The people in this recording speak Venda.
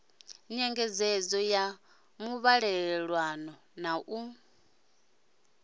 nyengedzedzo ya muvhalelano na u